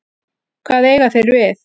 Hvað eiga þeir við?